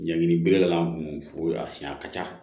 Ɲangini bere ta an kun fo a siyɛn a ka ca